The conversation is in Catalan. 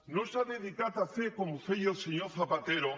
no s’ha dedicat a fer com feia el senyor zapatero